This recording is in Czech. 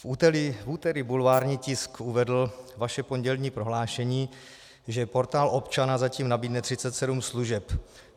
V úterý bulvární tisk uvedl vaše pondělní prohlášení, že portál občana zatím nabídne 37 služeb.